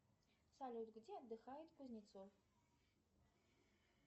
салют где отдыхает кузнецов